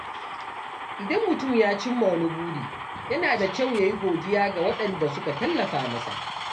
Idan mutum ya cimma wani buri, yana da kyau ya yi godiya ga waɗanda suka tallafa masa.